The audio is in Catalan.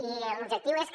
i l’objectiu és que